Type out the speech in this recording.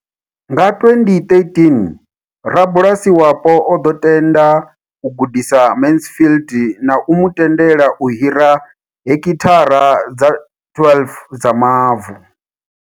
Nga 2013, rabulasi wapo o ḓo tenda u gudisa Mansfield na u mu tendela u hira hekithara dza 12 dza mavu.